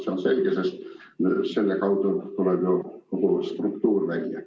See on selge, sest selle kaudu tuleks ju kogu struktuur välja.